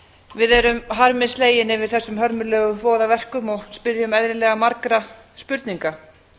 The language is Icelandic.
við erum harmi slegin yfir þessum hörmulegu voðaverkum og spyrjum eðlilega margra spurninga